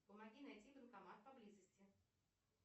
помоги найти банкомат поблизости